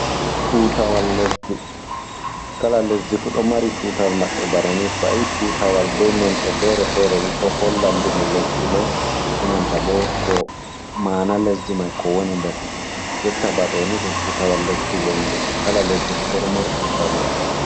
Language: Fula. Tutawal lesdi, kala lesdi fu ɗo mari tutawal maɓɓe bana ni, to a yi tutawal bei nonɗe fere-fere ni ɗo holla ndimu lesdi mai e nanta bo ko ma'ana lesdi man ko woni nder yotta, jonta ba ɗooni ɗum tutawal lesdi wondi, kala lesdi fu bo ɗon mari tutawal maɓɓe.